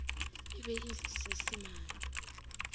e be e le seisemane